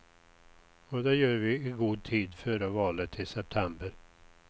Och det gör vi i god tid före valet i september.